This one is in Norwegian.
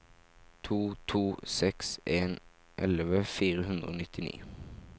to to seks en elleve fire hundre og nittini